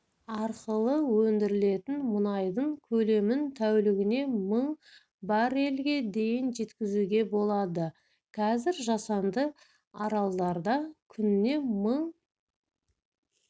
арқылы өндірілетін мұнайдың көлемін тәулігіне мың баррельге дейін жеткізуге болады қазір жасанды аралдарда күніне мың